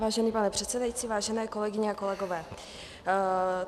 Vážený pane předsedající, vážené kolegyně a kolegové.